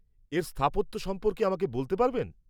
-এর স্থাপত্য সম্পর্কে আমাকে বলতে পারবেন?